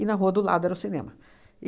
E na rua do lado era o cinema.